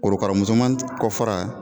Korokara musoman kɔfara